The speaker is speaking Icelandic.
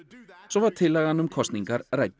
svo var tillagan um kosningar rædd